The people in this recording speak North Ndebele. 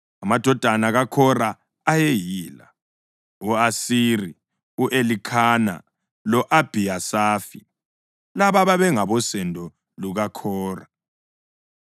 Amadodana kaKhora ayeyila; u-Asiri, u-Elikhana lo-Abhiyasafi. Laba babengabosendo lukaKhora.